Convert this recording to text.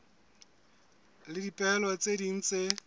le dipehelo tse ding tse